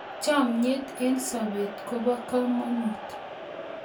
chomyet eng sopet kopo komonut